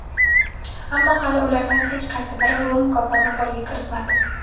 ammo hali ulardan hech qaysi biri bu mukofotni qo‘lga kiritmadi.